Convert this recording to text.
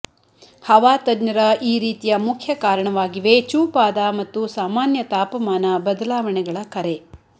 ಹವಾ ತಜ್ಞರ ಈ ರೀತಿಯ ಮುಖ್ಯ ಕಾರಣವಾಗಿವೆ ಚೂಪಾದ ಮತ್ತು ಸಾಮಾನ್ಯ ತಾಪಮಾನ ಬದಲಾವಣೆಗಳ ಕರೆ